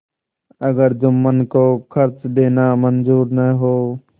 अगर जुम्मन को खर्च देना मंजूर न हो